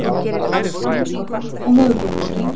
Húsaleiga hefur hækkað á höfuðborgarsvæðinu